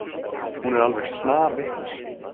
Hún er alveg snarvitlaus.